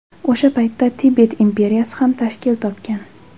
O‘sha paytda Tibet imperiyasi ham tashkil topgan.